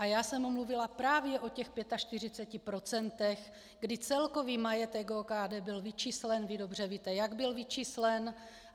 A já jsem mluvila právě o těch 45 %, kdy celkový majetek OKD byl vyčíslen - vy dobře víte, jak byl vyčíslen.